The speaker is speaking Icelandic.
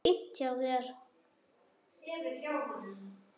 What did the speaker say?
Fínt hjá þér.